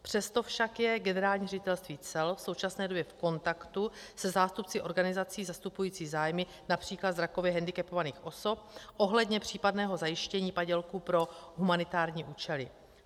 Přesto však je Generální ředitelství cel v současné době v kontaktu se zástupci organizací zastupujících zájmy například zrakově hendikepovaných osob ohledně případného zajištění padělků pro humanitární účely.